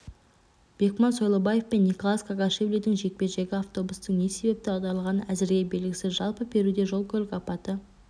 бекман сойлыбаев пен николоз кокашвилидің жекпе-жегі автобустың не себепті аударылғаны әзірге белгісіз жалпы перуде жол-көлік апаты